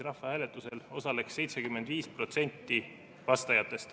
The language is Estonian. Rahvahääletusel oleks osalenud 75% vastajatest.